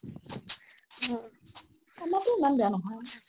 আমাৰও ইমান বেয়া নহয়